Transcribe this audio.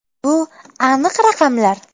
Bu – aniq raqamlar.